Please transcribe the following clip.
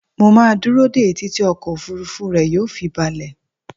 Mo máa dúró dé e títí ọkọ̀ òfuurufú rẹ yóò fi balẹ̀